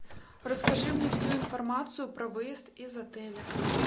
расскажи мне всю информацию про выезд из отеля